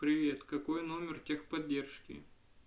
привет какой номер техподдержки